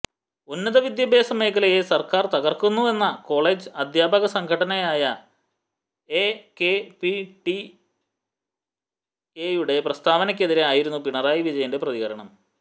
ഉന്നതവിദ്യാഭ്യാസ മേഖലയെ സർക്കാർ തകർക്കുന്നുവെന്ന കോളജ് അദ്ധ്യാപക സംഘടനയായ എകെപിസിടിഎയുടെ പ്രസ്താവനക്കെതിരെ ആയിരുന്നു പിണറായി വിജയന്റെ പ്രതികരണം